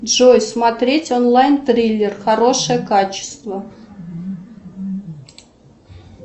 джой смотреть онлайн триллер хорошее качество